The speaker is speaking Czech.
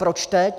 Proč teď?